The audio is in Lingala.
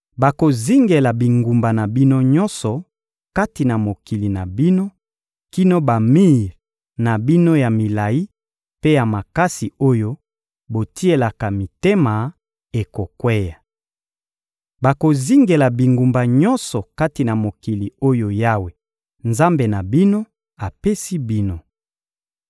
Bakozingela bingumba na bino nyonso kati na mokili na bino kino bamir na bino ya milayi mpe ya makasi oyo botielaka mitema ekokweya. Bakozingela bingumba nyonso kati na mokili oyo Yawe, Nzambe na bino, apesi bino.